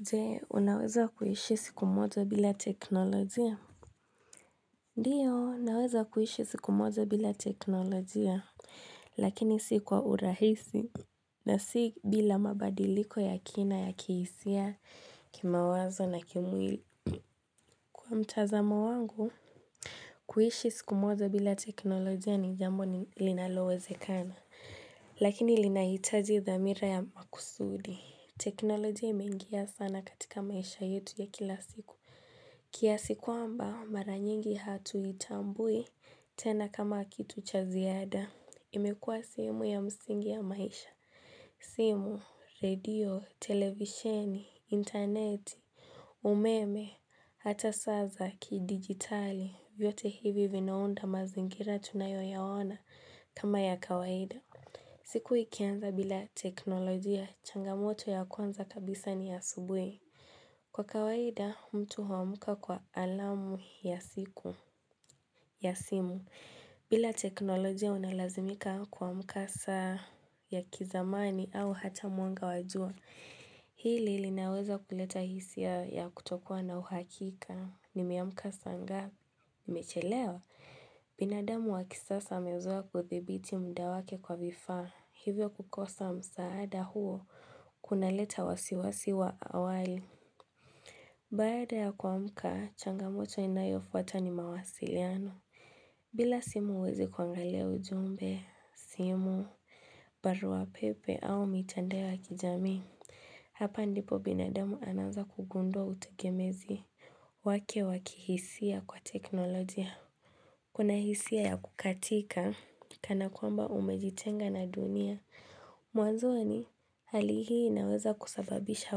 Je, unaweza kuishi siku moja bila teknolojia? Ndio, naweza kuishi siku moja bila teknolojia, lakini si kwa urahisi. Na si bila mabadiliko ya kina ya kihisia kimawazo na kimwili. Kwa mtazamo wangu, kuishi siku moja bila teknolojia ni jambo linalowezekana, lakini linahitaji dhamira ya makusudi. Teknolojia imengia sana katika maisha yetu ya kila siku. Kiasi kwamba mara nyingi hatuitambui tena kama kitu cha ziada. Imekuwa sehemu ya msingi ya maisha, simu, radio, televisheni, interneti, umeme, hata saa za kidigitali, vyote hivi vinaunda mazingira tunayo yaona kama ya kawaida. Siku ikianza bila teknolojia changamoto ya kwanza kabisa ni asubui. Kwa kawaida, mtu huamka kwa alamu ya siku, ya simu, bila teknolojia unalazimika kuamka saa ya kizamani au hata mwanga wa jua. Hii linaweza kuleta hisia ya kutokuwa na uhakika nimeamka saa ngapi nimechelewa. Binadamu wa kisasa amezoea kudhibiti muda wake kwa vifaa. Hivyo kukosa msaada huo, kunaleta wasiwasi wa awali. Baada ya kuamka, changamoto inayofuata ni mawasiliano. Bila simu huwezi kuangalia ujumbe, simu, baruapepe au mitandao wa kijamii, hapa ndipo binademu anaanza kugundua utegemezi wake wakihisia kwa teknolojia. Kuna hisia ya kukatika, kana kwamba umejitenga na dunia. Mwanzoni hali hii inaweza kusababisha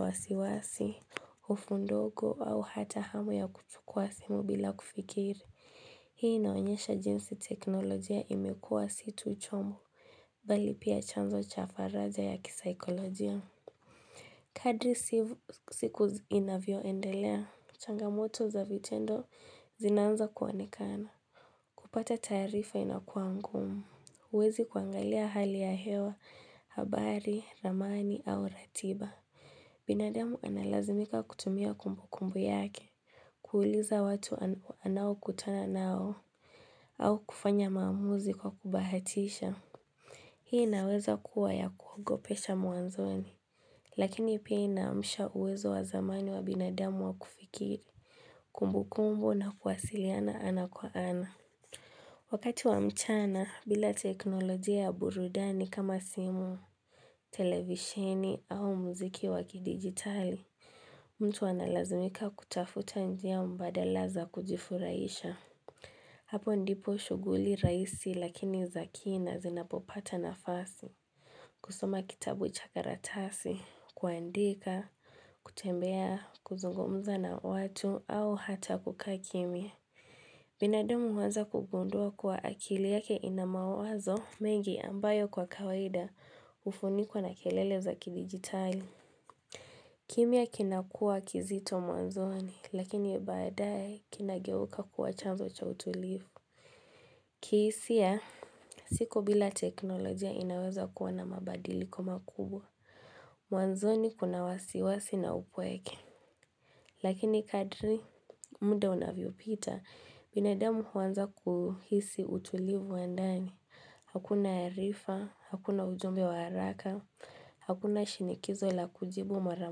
wasiwasi, hofu ndogo au hata hamu ya kuchukua simu bila kufikiri Hii inaonyesha jinsi teknolojia imekuwa si tu chombo, bali pia chanzo cha faraja ya kisaikolojia Kadri siku inavyo endelea, changamoto za vitendo zinaanza kuonekana kupata taarifa inakuwa ngumu, huwezi kuangalia hali ya hewa, habari, ramani au ratiba binadamu analazimika kutumia kumbukumbu yake kuuliza watu anaokutana nao au kufanya maamuzi kwa kubahatisha Hii inaweza kuwa ya kuogopesha mwanzoni Lakini pia inaamsha uwezo wa zamani wa binadamu wa kufikiri Kumbu kumbu na kuwasiliana ana kwa ana Wakati wa mchana, bila teknolojia ya burudani kama simu, televisheni au muziki wa kidigitali, mtu analazimika kutafuta njia mbadala za kujifurahisha. Hapo ndipo shughuli rahisi lakini za kina zinapopata nafasi. Kusoma kitabu cha karatasi, kuandika, kutembea, kuzungumza na watu au hata kukaa kimya. Binadamu huanza kugundua kuwa akili yake inamawazo mengi ambayo kwa kawaida hufunikwa na kelele za kidigitali. Kimyaa kinakuwa kizito mwanzoni, lakini baadaye kinageuka kuwa chanzo cha utulivu. Kihisia, siku bila teknolojia inaweza kuwa na mabadili ko makubwa, mwanzoni kuna wasiwasi na upweke. Lakini kadri muda unavyopita, binadamu huanza kuhisi utulivu wa ndani. Hakuna arifa, hakuna ujumbe wa haraka, hakuna shinikizo la kujibu mara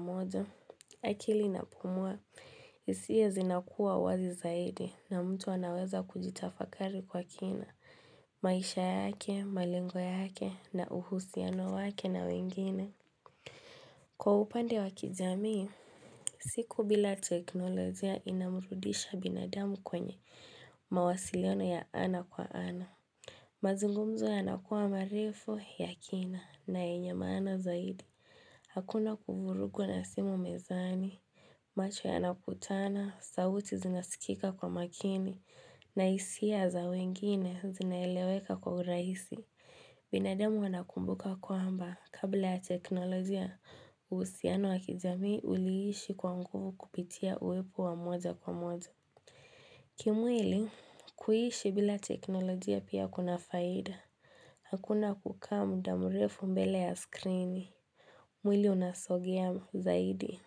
moja. Akili inapumua, ihisia zinakuwa wazi zaidi na mtu anaweza kujitafakari kwa kina. Maisha yake, malengo yake, na uhusiano wake na wengine. Kwa upande wa kijamii, siku bila teknolojia inamrudisha binadamu kwenye mawasiliano ya ana kwa ana. Mazungumzo yanakuwa marefu ya kina na yenye maana zaidi. Hakuna kuvurugwa na simu mezani. Macho yanakutana, sauti zinasikika kwa makini, na hisia za wengine zinaeleweka kwa urahisi. Binadamu wanakumbuka kwamba kabla ya teknolojia uhusiano wakijamii uliishi kwa nguvu kupitia uwepo wa moja kwa moja. Kimwili kuishi bila teknolojia pia kuna faida. Hakuna kukaa muda mrefu mbele ya skrini. Mwili unasogea zaidi.